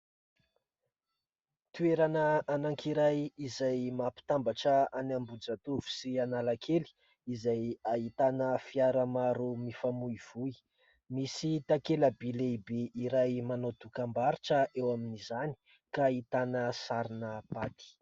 Toerana anankiray izay mampitambatrra an'Ambohijatovo sy Analakely izay ahitana fiara maro mifamoivoy. Misy takela-by lehibe iray manao dokam-barotra izany ka ahitana sarina "pâtes".